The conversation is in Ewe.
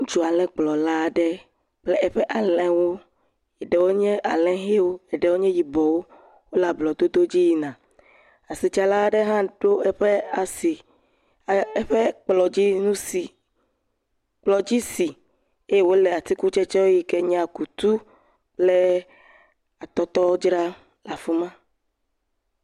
Ŋutsu alẽkplɔla aɖe kple eƒe alẽwo, eɖewo nye alẽ ʋewo, eɖewo nye yibɔwo, wole ablɔdodo dzi yina, asitsala aɖe ɖo eƒe asi, ekplɔ dzi si, eye wòle atukutsetse siwo nye akutu kple atɔtɔwo dzram le afi ma.